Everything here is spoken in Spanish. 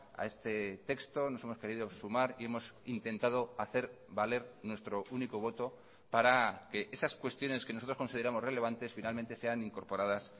a este texto nos hemos querido sumar y hemos intentado hacer valer nuestro único voto para que esas cuestiones que nosotros consideramos relevantes finalmente sean incorporadas